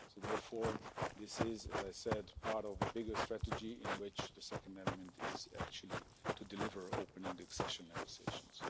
Therefore, this is as I have said part of a bigger strategy in which the second element is actually to deliver opening the accession negotiations.